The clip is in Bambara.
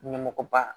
Ɲɛmɔgɔ ba